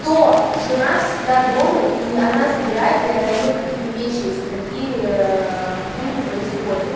кто жена всегда дома и она забирает и отдаёт какие-то вещи если такие хуйни происходят